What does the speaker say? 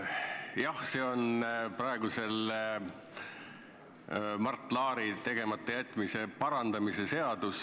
Jah, see on praegu Mart Laari tegemata jätmise parandamise seadus.